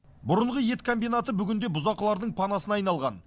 бұрынғы ет комбинаты бүгінде бұзақылардың панасына айналған